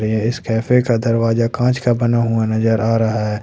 ए इस कैफे का दरवाजा कांच का बना हुआ नजर आ रहा है।